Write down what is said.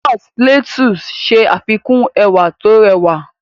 Jos Plateau ṣe àfikún ẹwà tó rẹwà.